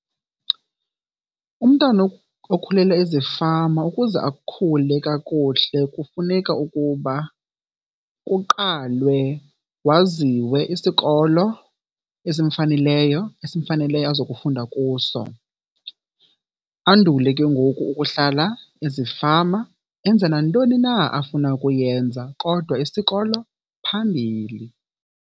Umntana okukhulele ezifama ukuze akhule kakuhle kufuneka ukuba kuqalwe waziwe isikolo esimfaneleyo, esimfaneleyo azokufunda kuso. Andule ke ngoku ukuhlala ezifama enze nantoni na afuna ukuyenza, kodwa isikolo phambili.